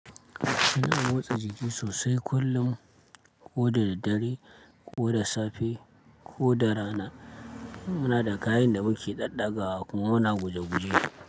Ina motsa jiki sosai kullum, ko da ddare, ko da safe, ko da rana. Muna da kayan da muke ɗaɗagawa kuma muna guje guje.